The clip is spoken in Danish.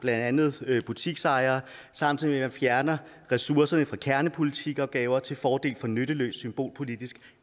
andet butiksejere samtidig at fjerner ressourcerne fra kernepolitiopgaver til fordel for nytteløs symbolpolitisk